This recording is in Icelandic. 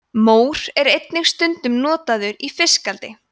mór er einnig stundum notaður í fiskeldi